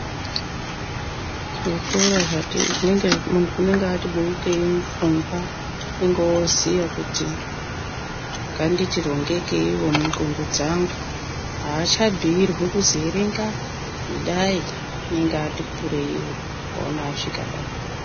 Zvikora zvati muntu unenge ati beukeyi pfungwa unonga oziva kuti nganditi rongekeyi mu ndxondo dzangu unenge oziya kuti nganditi rongekeyiwo mupfungwa dza gu haachambuyirwi kutii erenga idai anenge ati kureyi mukaona asvika paapo.